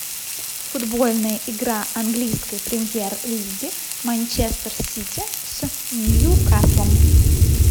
футбольная игра английской премьер лиги манчестер сити с ньюкаслом